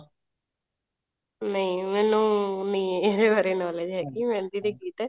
ਨਹੀਂ ਮੈਨੂੰ ਨਹੀਂ ਇਹਦੇ ਬਾਰੇ knowledge ਹੈਗੀ ਮਹਿੰਦੀ ਦੇ ਗੀਤ